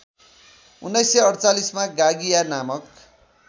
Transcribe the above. १९४८ मा गागिया नामक